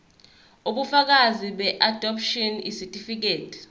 ubufakazi beadopshini isitifikedi